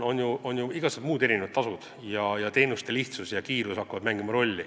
Oma rolli mängivad teenuste lihtsus ja kiirus.